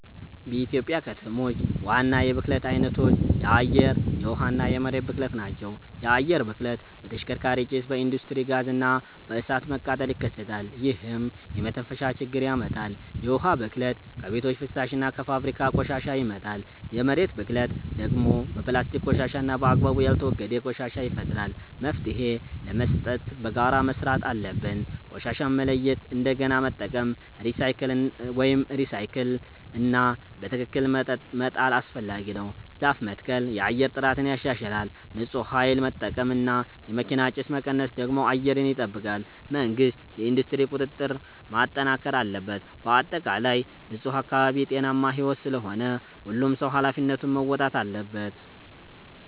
በኢትዮጵያ ከተሞች ዋና የብክለት አይነቶች የአየር፣ የውሃ እና የመሬት ብክለት ናቸው። የአየር ብክለት በተሽከርካሪ ጭስ፣ በኢንዱስትሪ ጋዝ እና በእሳት መቃጠል ይከሰታል፣ ይህም የመተንፈሻ ችግር ያመጣል። የውሃ ብክለት ከቤቶች ፍሳሽ እና ከፋብሪካ ቆሻሻ ይመጣል። የመሬት ብክለት ደግሞ በፕላስቲክ ቆሻሻ እና በአግባቡ ያልተወገደ ቆሻሻ ይፈጠራል። መፍትሄ ለመስጠት በጋራ መስራት አለብን። ቆሻሻን መለያየት፣ እንደገና መጠቀም (recycle) እና በትክክል መጣል አስፈላጊ ነው። ዛፍ መትከል የአየር ጥራትን ያሻሽላል። ንፁህ ኃይል መጠቀም እና የመኪና ጭስ መቀነስ ደግሞ አየርን ይጠብቃል። መንግሥት የኢንዱስትሪ ቁጥጥር ማጠናከር አለበት። በአጠቃላይ ንፁህ አካባቢ ጤናማ ሕይወት ስለሆነ ሁሉም ሰው ኃላፊነቱን መወጣት አለበት።